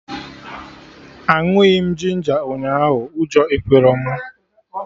Aṅụghị m ginger ahụ, ụjọ ekwerọ mụ